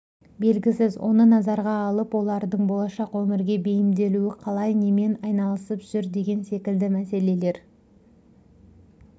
белгісіз оны назарға алып олардың болашақ өмірге бейімделуі қалай немен айналысып жүр деген секілді мәселелер